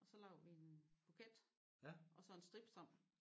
Og så laver vi en buket og så en strips om